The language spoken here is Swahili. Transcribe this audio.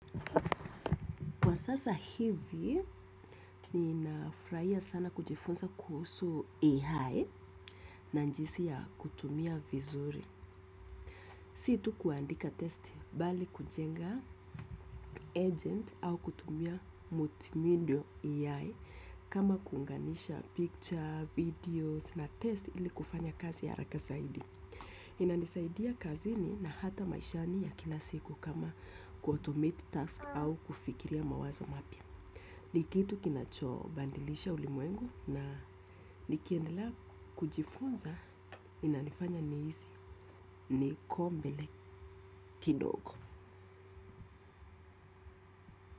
Kwa sasa hivi, ninafurahia sana kujifunza kuhusu AI na jinsi ya kuitumia vizuri. Si tu kuandika test bali kujenga agent au kutumia multimedia AI kama kuunganisha picture, videos na test ili kufanya kazi ya haraka zaidi. Inanisaidia kazini na hata maishani ya kila siku kama kuautomate tasks au kufikiria mawazo mapya. Nikitu kinachobadilisha ulimwengu na nikiendela kujifunza. Inanifanya nihisi niko mbele kidogo.